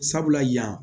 Sabula yan